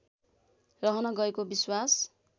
रहन गएको विश्वास